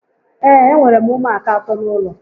Ee, e nwèrè m ụmụaka àtọ́ n'ụlọ